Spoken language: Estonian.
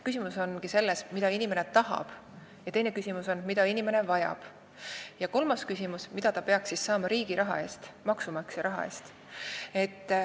Küsimus ongi selles, mida inimene tahab, teine küsimus on, mida inimene vajab, ja kolmas küsimus on, mida ta peaks siis saama riigi raha eest, maksumaksja raha eest.